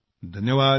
धन्यवाद